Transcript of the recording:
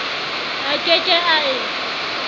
a ke ke a e